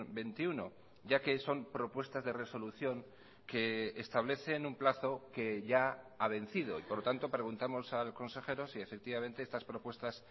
veintiuno ya que son propuestas de resolución que establecen un plazo que ya ha vencido y por lo tanto preguntamos al consejero si efectivamente estas propuestas